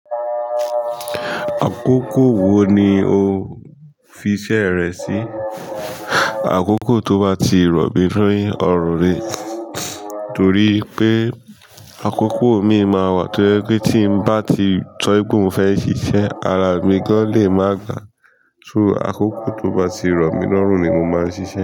Àkókò wo ni o fiṣẹ́e rẹ sí? Àkókò tó bá ti rọ̀ mí ni ọ̀run ni, torí pé àkókò imii máa wà tó ẹ́ pé tí ń bá ti so wipe mo fẹ́ ṣiṣẹ́, araa mi gan lè máa gbaà. So àkókò tó bá ti rọ̀ mi lórun ni mo máa ń ṣiṣẹ́